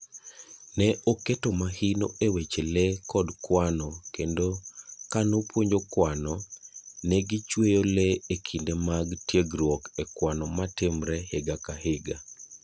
Ne oketo mahino e weche lee kod kwano kendo kanopuonjo kwano,,ne gichweyo lee ekinde mag tiegruok e kwano matimre higa ka higa.